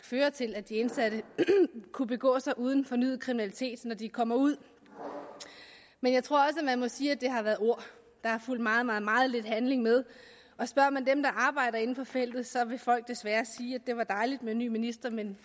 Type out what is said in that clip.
føre til at de indsatte kunne begå sig uden fornyet kriminalitet når de kommer ud men jeg tror også at man må sige at det har været ord der har fulgt meget meget meget lidt handling med og spørger man dem der arbejder inden for feltet vil folk desværre sige at det var dejligt med en ny minister men